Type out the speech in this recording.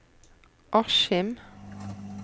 Askim